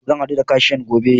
Zan haɗu da kashiyan gobe.